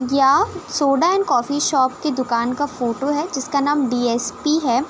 या soda and coffee shop की दुकान का फोटो है। जिसका नाम डी.एस.पी है।